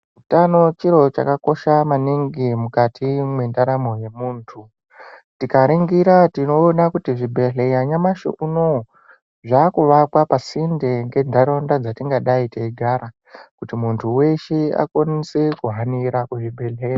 Hutano chiro chakakosha maningi mukati mendaramo yemuntu tikaningira tinoona kuti zvibhedhlera nyamashi unowu zvakuvakwa pasinde nenharaunda patingadai kugara kuti muntu wese akwanise kuhanira kuzvibhedhlera.